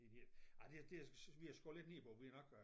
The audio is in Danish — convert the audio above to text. En hel ej det det vi har skåret lidt ned på det vi er nok øh